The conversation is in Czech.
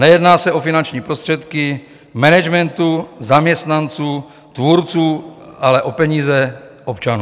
Nejedná se o finanční prostředky managementu, zaměstnanců, tvůrců, ale o peníze občanů.